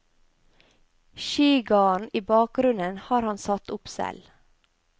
Skigarden i bakgrunnen har han satt opp selv.